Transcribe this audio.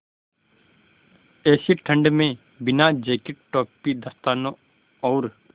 ऐसी ठण्ड में बिना जेकेट टोपी दस्तानों और